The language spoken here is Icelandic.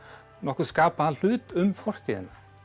nokkurn skapaðan hlut um fortíðina